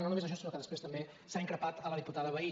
no només això sinó que després també s’ha increpat la diputada vehí